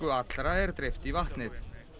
allra er dreift í vatnið